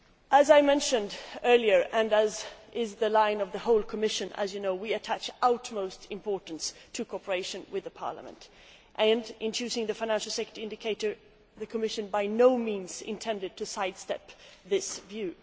As I mentioned earlier and as is the line of the whole Commission, as you know we attach the utmost importance to cooperation with this Parliament. In choosing the financial sector indicator, the Commission by no means intended to sidestep this view.